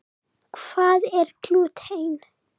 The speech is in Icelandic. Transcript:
Hvað er glúten?